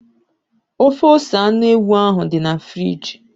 Ofe ose anụ ewu ahụ dị na friji.